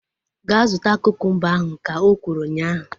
Gaa zụta kukumba ahu! Ka o kwuru ụnyaahụ